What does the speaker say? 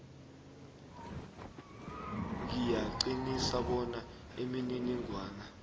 ngiyaqinisa bona imininingwana